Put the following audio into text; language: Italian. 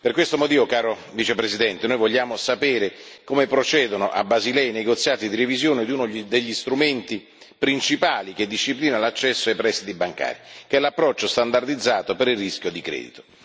Per questo motivo, caro Vicepresidente, noi vogliamo sapere come procedono a Basilea i negoziati di revisione di uno degli strumenti principali che disciplina l'accesso ai prestiti bancari, che è l'approccio standardizzato per il rischio di credito.